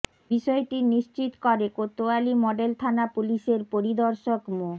বিষয়টি নিশ্চিত করে কোতোয়ালি মডেল থানা পুলিশের পরিদর্শক মো